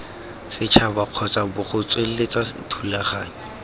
setšhaba kgotsa bgo tsweletsa dithulaganyo